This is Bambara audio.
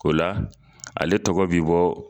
O la, ale tɔgɔ b'i bɔ.